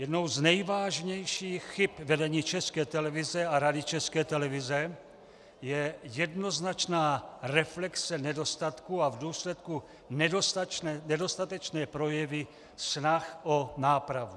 Jednou z nejvážnějších chyb vedení České televize a Rady České televize je jednoznačná reflexe nedostatků a v důsledku nedostatečné projevy snah o nápravu.